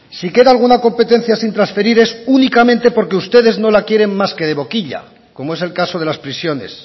si queda alguna competencia sin transferir es únicamente porque ustedes no la quieren más que de boquilla como es el caso de las prisiones